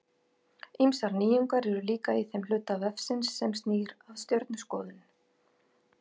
Ýmsar nýjungar eru líka í þeim hluta vefsins sem snýr að stjörnuskoðun.